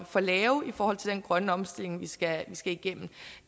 for lave i forhold til den grønne omstilling vi skal igennem